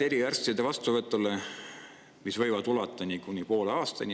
Eriarsti vastuvõtu pikad ooteajad võivad ulatuda kuni poole aastani.